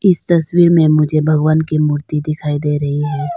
इस तस्वीर में मुझे भगवान की मूर्ति दिखाई दे रही है।